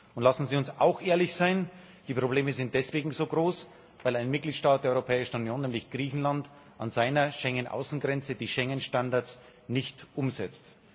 Und lassen Sie uns auch ehrlich sein Die Probleme sind deswegen so groß, weil ein Mitgliedstaat der Europäischen Union, nämlich Griechenland, an seiner Schengen Außengrenze die Schengen Standards nicht umsetzt.